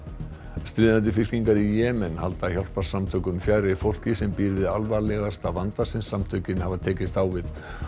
stríðandi fylkingar í Jemen halda hjálparsamtökum fjarri fólki sem býr við alvarlegasta vanda sem samtökin hafa tekist á við